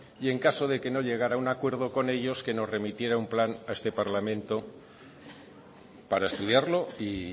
y en caso de que no llegara a un acuerdo con ellos que nos remitiera un plan a este parlamento para estudiarlo y